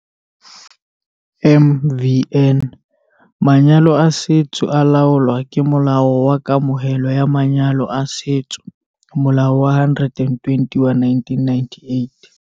MvN- Manyalo a setso a laolwa ke Molao wa Kamohelo ya Manyalo a Setso, Molao wa 120 wa 1998.